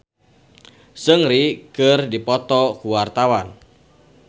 Arina Mocca jeung Seungri keur dipoto ku wartawan